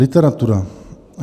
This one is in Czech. Literatura.